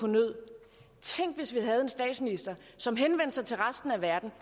nød tænk hvis vi havde en statsminister som henvendte sig til resten af verden